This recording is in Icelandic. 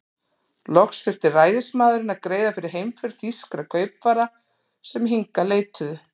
Loks þurfti ræðismaðurinn að greiða fyrir heimför þýskra kaupfara, sem hingað leituðu.